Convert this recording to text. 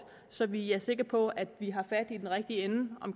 så vi er sikre på at vi har fat i den rigtige ende af